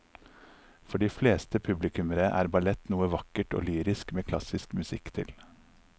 For de fleste publikummere er ballett noe vakkert og lyrisk med klassisk musikk til.